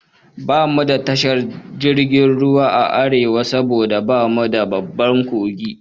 Bamu da tashar jirgin ruwa a Arewa saboda bamu da babban kogi